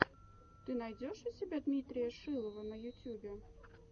ты найдешь у себя дмитрия шилова на ютьюбе